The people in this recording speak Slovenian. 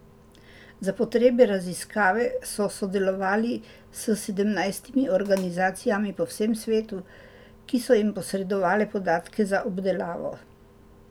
Za potrebe raziskave so sodelovali s sedemnajstimi organizacijami po vsem svetu, ki so jim posredovale podatke za obdelavo.